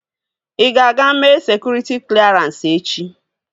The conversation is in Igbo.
Ị ga-aga mee sekụritị klerans echi?